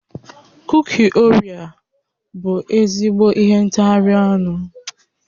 Kuki Orea bụ ezigbo ihe ntagharị ọnụ